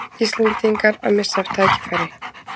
Íslendingar að missa af tækifæri